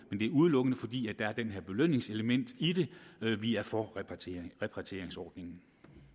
er udelukkende fordi der er det her belønningselement i det vi er for repatrieringsordningen